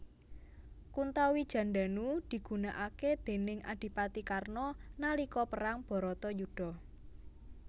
Kuntawijandanu digunakake déning adipati Karna nalika perang Bharatayudha